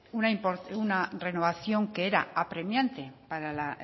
una renovación que era apremiante para la